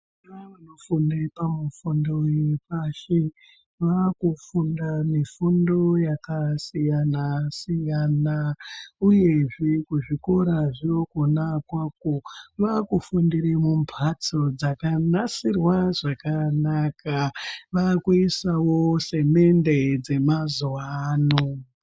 Vana vanofundo uepasi mifundo yepashi vaakufunda yakasiyana-siyana uyezvee kuzvikora zvinogona kua vaakufundire mumbatso dzakanasirwa zvakanaka vakuisawo semende dzemazuwa ano.